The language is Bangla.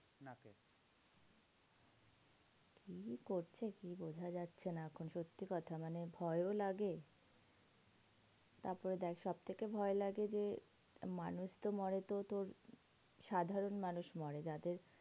কি করছে? কি বোঝা যাচ্ছে না এখন সত্যি কথা? মানে ভয়ও লাগে। তারপরে দেখ সবথেকে ভয় লাগে যে, মানুষ তো মরে তো তোর সাধারণ মানুষ মরে। যাদের